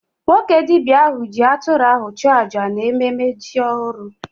Nwoke dibia ahụ ji atụrụ ahụ chụọ aja n'ememe ji ọhụrụ